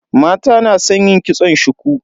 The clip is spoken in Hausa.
Mata na san yin kitson shuku.